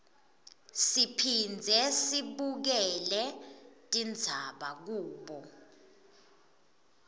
siphindze sibukele tindzaba kubo